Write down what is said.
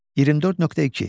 24.2.